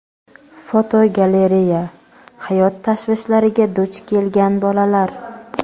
Fotogalereya: "Hayot tashvishlariga" duch kelgan bolalar.